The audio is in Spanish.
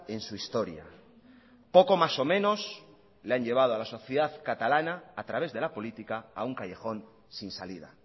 en su historia poco más o menos le han llevado a la sociedad catalana a través de la política a un callejón sin salida